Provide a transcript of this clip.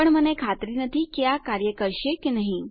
પણ મને ખાતરી નથી કે આ કાર્ય કરશે કે નહી